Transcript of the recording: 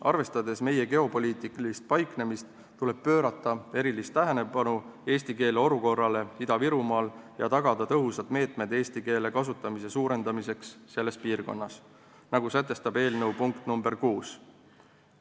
Arvestades meie geopoliitilist paiknemist, tuleb pöörata erilist tähelepanu eesti keele olukorrale Ida-Virumaal ja tagada tõhusad meetmed, et eesti keele kasutamine selles piirkonnas suureneks, nagu sätestab eelnõu punkt nr 6.